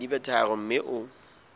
di be tharo mme o